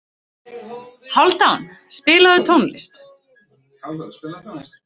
Hálfdan, spilaðu tónlist.